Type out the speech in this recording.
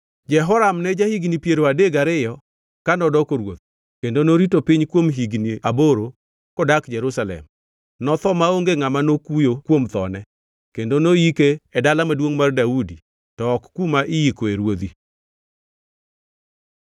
Jehoram ne ja-higni piero adek gariyo ka nodoko ruoth, kendo norito piny kuom higni aboro kodak Jerusalem. Notho maonge ngʼama nokuyo kuom thone kendo noyike e Dala Maduongʼ mar Daudi to ok kuma iyikoe ruodhi.